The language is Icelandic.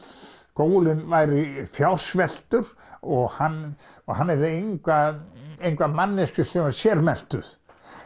skólinn væri fjársveltur og hann og hann hefði enga enga manneskju sem væri sérmenntuð